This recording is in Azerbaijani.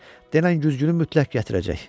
Denən güzgünü mütləq gətirəcək.